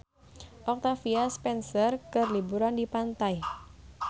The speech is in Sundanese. Octavia Spencer keur liburan di pantai